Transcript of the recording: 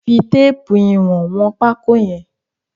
Fi téèpù ìwọ̀n wọn pákó yẹn.